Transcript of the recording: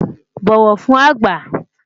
bọwọ fún àgbà